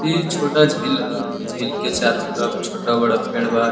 इ छोटा झील ह। ई झील के चारों तरफ छोटा बड़ा पेड़ बा।